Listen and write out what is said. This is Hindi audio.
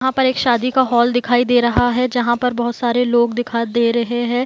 यहाँ पर एक शादी का हॉल दिखाई दे रहा है जहाँ पर बहुत सारे लोग दिखाई दे रहे हैं ।